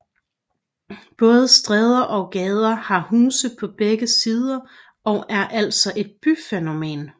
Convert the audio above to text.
Både stræder og gader har huse på begge sider og er altså et byfænomen